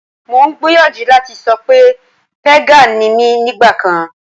Mo ń gbìyànjú láti sọ pé pégànì ni mí nígbà kan